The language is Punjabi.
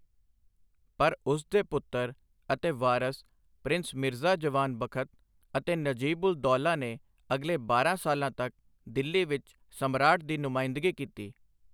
ਪਰ ਉਸ ਦੇ ਪੁੱਤਰ ਅਤੇ ਵਾਰਸ ਪ੍ਰਿੰਸ ਮਿਰਜ਼ਾ ਜਵਾਨ ਬਖਤ ਅਤੇ ਨਜੀਬ ਉਲ ਦੌਲਾ ਨੇ ਅਗਲੇ ਬਾਰਾਂ ਸਾਲਾਂ ਤੱਕ ਦਿੱਲੀ ਵਿੱਚ ਸਮਰਾਟ ਦੀ ਨੁਮਾਇੰਦਗੀ ਕੀਤੀ।